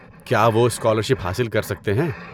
کیا وہ اسکالرشپ حاصل کر سکتے ہیں؟